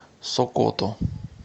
сокото